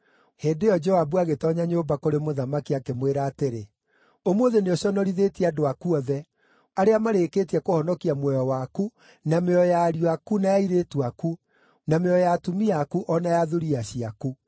Hĩndĩ ĩyo Joabu agĩtoonya nyũmba kũrĩ mũthamaki, akĩmwĩra atĩrĩ, “Ũmũthĩ nĩũconorithĩtie andũ aku othe, arĩa marĩkĩtie kũhonokia muoyo waku, na mĩoyo ya ariũ aku na ya airĩtu aku, na mĩoyo ya atumia aku o na ya thuriya ciaku.